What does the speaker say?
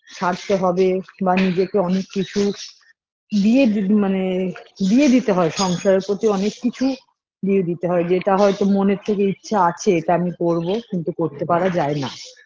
ছাড়তে হবে বা নিজেকে অনেক কিছু দিয়ে দি মানে দিয়ে দিতে হয় সংসারের প্রতি অনেক কিছু দিয়ে দিতে হয় যেটা হয়তো মনের থেকে ইচ্ছা আছে এটা আমি করবো কিন্তু করতে পারা যায় না